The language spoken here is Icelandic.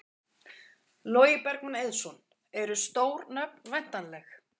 Logi Bergmann Eiðsson: Eru stór nöfn væntanleg?